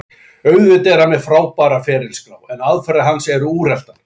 Auðvitað er hann með frábæra ferilskrá, en aðferðir hans eru úreltar.